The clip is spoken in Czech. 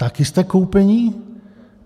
Taky jste koupení?